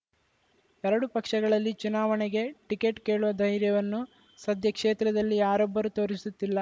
ಎರಡೂ ಪಕ್ಷಗಳಲ್ಲಿ ಚುನಾವಣೆಗೆ ಟಿಕೆಟ್‌ ಕೇಳುವ ಧೈರ್ಯವನ್ನು ಸದ್ಯ ಕ್ಷೇತ್ರದಲ್ಲಿ ಯಾರೊಬ್ಬರೂ ತೋರಿಸುತ್ತಿಲ್ಲ